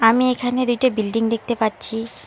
আমি এখানে দুইটি বিল্ডিং দেখতে পাচ্ছি।